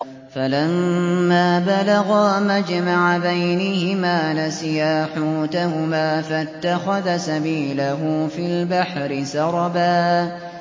فَلَمَّا بَلَغَا مَجْمَعَ بَيْنِهِمَا نَسِيَا حُوتَهُمَا فَاتَّخَذَ سَبِيلَهُ فِي الْبَحْرِ سَرَبًا